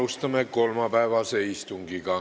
Alustame kolmapäevast istungit.